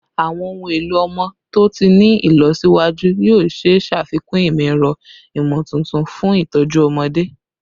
Awọn ohun elo ọmọ to ti ni ilọsiwaju yoo ṣee ṣafikun imọ-ẹrọ imotuntun fun itọju ọmọde